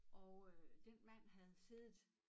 Og øh den mand havde siddet